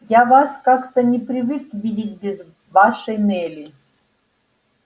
я вас как-то не привык видеть без вашей нелли